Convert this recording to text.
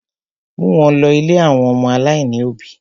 Mú wọn lọ̀ ilé àwọn ọmọ aláìní òbí!